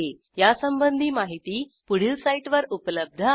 यासंबंधी माहिती पुढील साईटवर उपलब्ध आहे